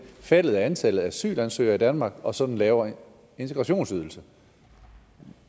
faldet af antallet af asylansøgere i danmark og så den lavere integrationsydelse